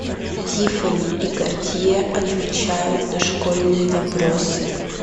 тиффани и картье отвечают на школьные вопросы